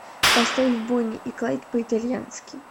поставь бонни и клайд по итальянски